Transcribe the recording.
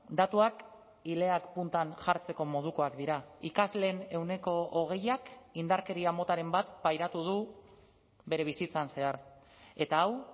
datuak ileak puntan jartzeko modukoak dira ikasleen ehuneko hogeiak indarkeria motaren bat pairatu du bere bizitzan zehar eta hau